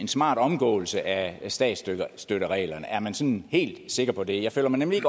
smart omgåelse af statsstøttereglerne er man sådan helt sikker på det jeg føler mig nemlig